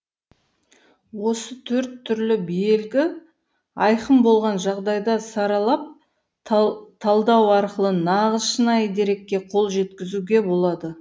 осы төрт түрлі белгі айқын болған жағдайда саралап талдау арқылы нағыз шынайы дерекке қол жеткізуге болады